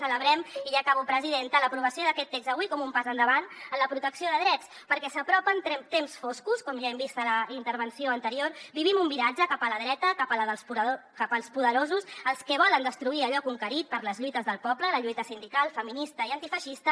celebrem i ja acabo presidenta l’aprovació d’aquest text avui com un pas endavant en la protecció de drets perquè s’apropen temps foscos com ja hem vist a la intervenció anterior vivim un viratge cap a la dreta cap als poderosos els que volen destruir allò conquerit per les lluites del poble la lluita sindical feminista i antifeixista